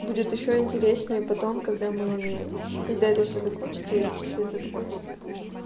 будет ещё интереснее потом когда мы когда это все закончится если все это закончится конечно